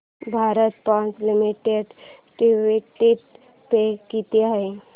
Bharat Forge Limited dividend pay किती आहे